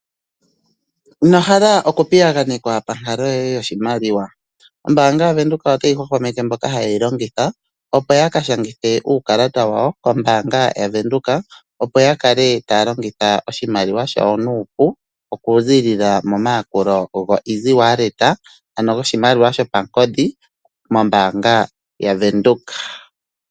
Ombanga yaVenduka otayi hwa hwameke mboka haye yi longitha opo yaka shangithe uukalata wawo wombanga yaVenduka opo ya kale taya longitha oshimaliwa shayo nupu oku zi lila momayakulo gawo go Easy wallet ano goshimaliwa shopangodhi mombanga yaVenduka.